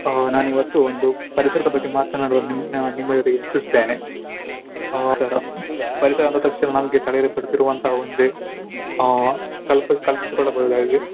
ಹ ನಾನು ಇವತ್ತು ಒಂದು ಪರಿಸರದ ಬಗ್ಗೆ ಮಾತನಾಡಲು ನಿಮ್ಮ ನಿಮ್ಮ ಜೊತೆಗೆ ಇಚ್ಚಿಸುತ್ತೇನೆ. ಪರಿಸರ ಪರಿಸರ ಅಂದ ತಕ್ಷಣ ನಮ್ಗೆ ಕಲಿಲಿಕ್ಕೆ ಒಂದೇ ಆ ಕಲ್ಪಿಸ್ ಕಲ್ಪಿಸಿಕೊಳ್ಳಬಹುದಾಗಿದೆ.